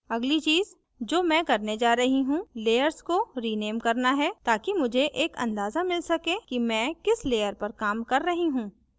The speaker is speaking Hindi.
अगली चीज जो मैं करने जा रही हूँ layers को rename करना है ताकि मुझे एक अंदाजा मिल so कि मैं किस layer पर काम कर रही हूँ